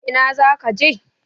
Ina zaka je?